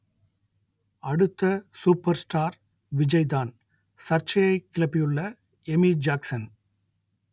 அடுத்த super star விஜய்தான் சர்ச்சையை கிளப்பியுள்ள எமி ஜாக்சன்